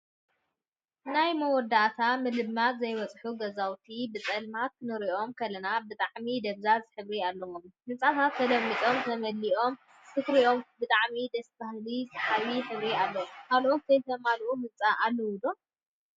ናይ መወዳእታ ምልማፅ ዘይበፅሑ ገዛውቲ ብፀልማት ክትሪኦም ከለካ ብጣዕሚ ደብዛዝ ሕብሪ አለዎም፡፡ ህንፃታት ተለሚፆምን ተማሊኦምን ክትሪኦም ብጣዕሚ ደስ በሃሊን ሰሓባይን ሕብሪ አለዎም፡፡ ካልኦት ዘይተማልኡ ህንፃታት አለው ዶ?